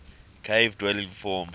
cave dwelling form